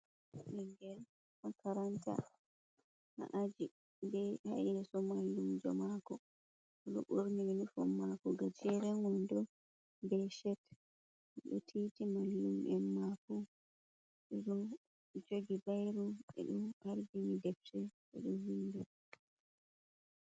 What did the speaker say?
Bingel makaranta ha aji. Be ha yeso malluumjo mako. do burni yunifom mako gajeren wondo be chet odo titi mallumjo mako bedo jogi bairu be do ardini defte be do vinɗa.